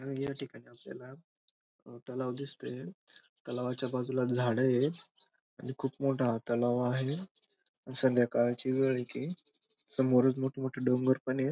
या ठिकाणी आपल्याला तलाव दिसतोय तलावाच्या बाजूला झाड येत आणि खूप मोठा हा तलाव आहे संध्याकाळची वेळ एक येसमोर मोठे मोठे डोंगर येत.